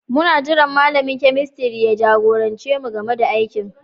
Muna jiran malamin kemistiri ya jagorance mu game da aikin